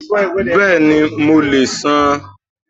Bẹ́ẹ̀ni, mo lè san án.